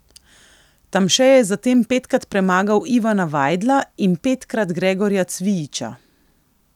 Tamše je zatem petkrat premagal Ivana Vajdla in petkrat Gregorja Cvijiča.